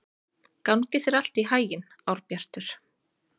Gangi þér allt í haginn, Árbjartur.